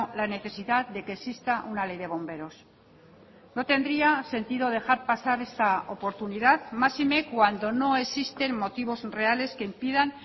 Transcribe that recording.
la necesidad de que exista una ley de bomberos no tendría sentido dejar pasar esta oportunidad máxime cuando no existen motivos reales que impidan